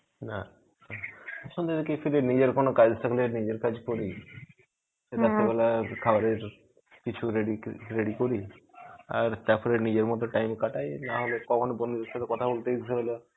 না, সন্ধের দিকে ফিরে নিজের কোনো কাজ থাকলে নিজের কাজ করি. রাত্রিবেলার খাবারের কিছু ready ready করি. আর তারপর নিজের মতো time কাটাই. নাহলে কখনো বন্ধুদের সাথে কথা বলতে ইচ্ছা হলো